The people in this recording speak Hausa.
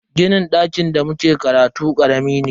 Ginin dakin da muke karatu karami ne.